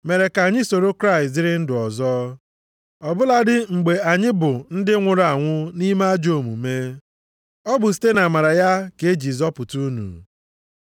mere ka anyị soro Kraịst dịrị ndụ ọzọ; ọ bụladị mgbe anyị bụ ndị nwụrụ anwụ nʼime ajọ omume. Ọ bụ site nʼamara ya ka e ji zọpụta unu.